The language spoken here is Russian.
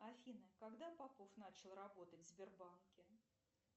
афина когда попов начал работать в сбербанке